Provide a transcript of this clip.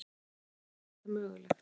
En hvernig var þetta mögulegt?